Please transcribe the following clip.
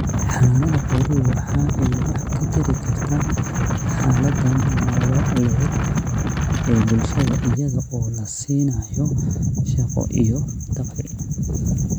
Xanaanada xooluhu waxa ay wax ka tari karta xaalada nololeed ee bulshada iyada oo la siinayo shaqo iyo dakhli.